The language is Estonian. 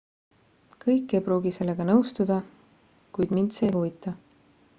kõik ei pruugi sellega nõustuda kuid mind see ei huvita